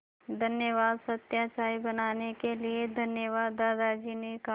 धन्यवाद सत्या चाय बनाने के लिए धन्यवाद दादाजी ने कहा